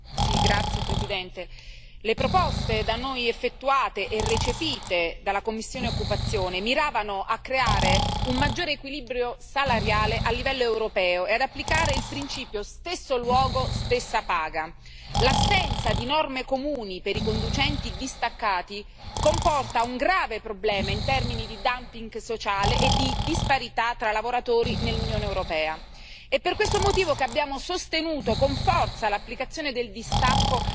Signor Presidente, onorevoli colleghi, le proposte da noi formulate e recepite dalla commissione EMPL miravano a creare un maggiore equilibrio salariale a livello europeo e ad applicare il principio stesso luogo, stessa paga. L'assenza di norme comuni per i conducenti distaccati comporta un grave problema in termini di dumping sociale e di disparità tra lavoratori nell'Unione europea. È per questo motivo che abbiamo sostenuto con forza l'applicazione del distacco,